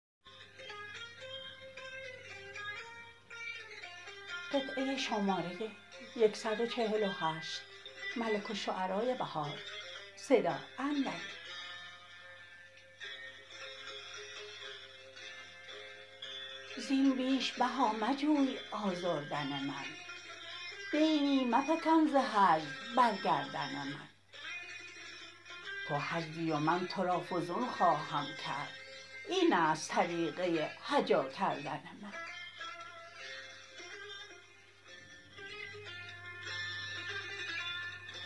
زین بیش بها مجوی آزردن من دینی مفکن زهجو برگردن من تو هجوی و من تو را فزون خواهم کرد اینست طریقه هجاکردن من